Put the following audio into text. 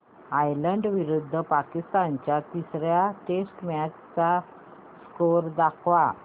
Ireland विरुद्ध पाकिस्तान च्या तिसर्या टेस्ट मॅच चा स्कोअर दाखवा